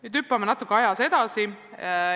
Nüüd hüppame ajas natuke edasi.